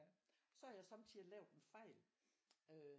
Så har jeg sommetider lavet en fejl øh